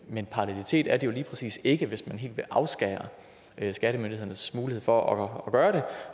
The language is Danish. men parallelitet er det jo lige præcis ikke hvis man helt vil afskære skattemyndighedernes mulighed for at gøre det